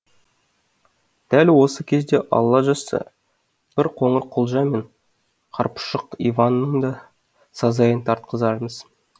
дәл осы кезде алла жазса бір қоңырқұлжа мен қарапұшық иванның да сазайын тартқызармыз